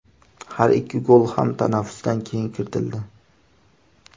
Har ikki gol ham tanaffusdan keyin kiritildi.